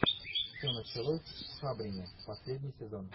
все началось в хабрине последний сезон